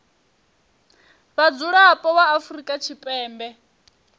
vha mudzulapo wa afrika tshipembe